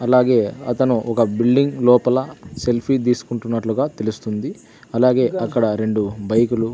అలాగే అతను ఒక బిల్డింగ్ లోపల సెల్ఫీ తీసుకుంటున్నట్లుగా తెలుస్తుంది అలాగే అక్కడ రెండు బైకులు .